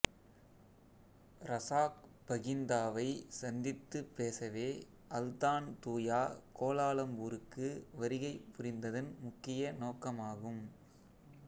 Razak பகிந்தாவைச் சந்தித்துப் பேசவே அல்தான்தூயா கோலாலம்பூருக்கு வருகை புரிந்ததின் முக்கிய நோக்கமாகும்